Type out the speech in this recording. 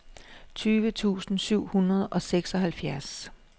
tyve tusind syv hundrede og seksoghalvfjerds